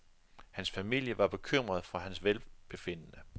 Hans familie var bekymret for hans velbefindende.